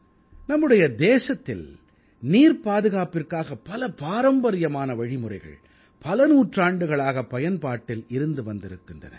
நம்முடைய தேசத்தில் நீர்ப் பாதுகாப்பிற்காக பல பாரம்பரியமான வழிமுறைகள் பல நூற்றாண்டுகளாகப் பயன்பாட்டில் இருந்து வந்திருக்கின்றன